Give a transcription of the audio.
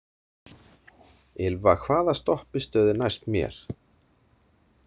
Ylva, hvaða stoppistöð er næst mér?